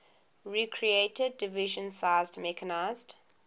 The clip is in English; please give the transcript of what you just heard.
recreated division sized mechanized